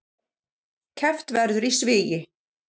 Keppt verður í svigi